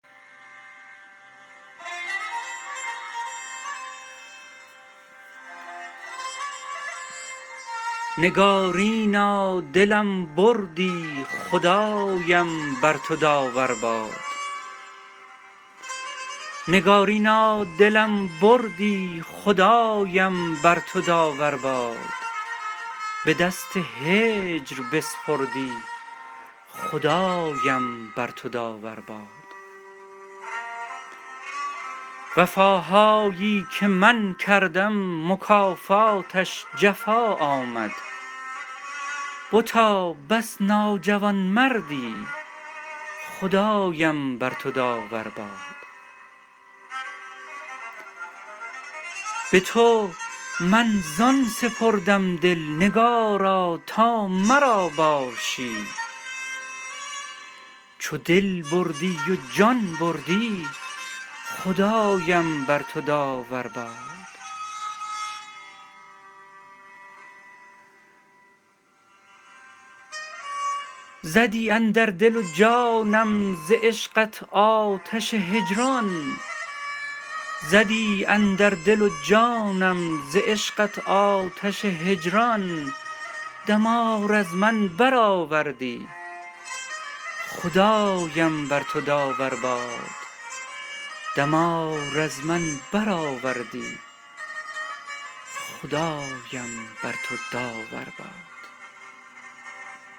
نگارینا دلم بردی خدایم بر تو داور باد به دست هجر بسپردی خدایم بر تو داور باد وفاهایی که من کردم مکافاتش جفا آمد بتا بس ناجوانمردی خدایم بر تو داور باد به تو من زان سپردم دل نگارا تا مرا باشی چو دل بردی و جان بردی خدایم بر تو داور باد زدی اندر دل و جانم ز عشقت آتش هجران دمار از من برآوردی خدایم بر تو داور باد